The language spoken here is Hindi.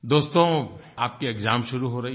दोस्तो आपकी एक्साम शुरू हो रही है